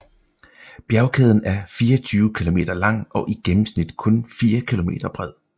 Bjergkæden er 24 kilometer lang og i gennemsnit kun 4 kilometer bred